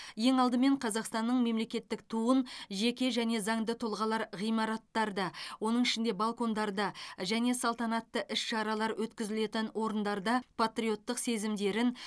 ең алдымен қазақстанның мемлекеттік туын жеке және заңды тұлғалар ғимараттарда оның ішінде балкондарда және салтанатты іс шаралар өткізілетін орындарда патриоттық сезімдерін